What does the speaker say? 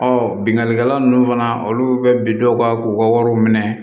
bingani kɛla ninnu fana olu bɛ bin dɔw kan k'u ka wariw minɛ